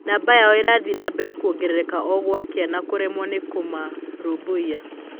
Numba yao ĩrathiĩ na mbere kwongerereka o gwakĩa na kũremwo nĩ kũmarũmbũia.